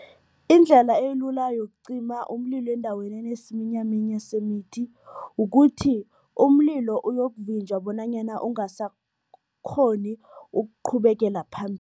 Indlela elula yokucima umlilo endaweni enesiminyaminya semithi, ukuthi umlilo uyokuvinjwa bonanyana ungasakghoni ukuqhubekela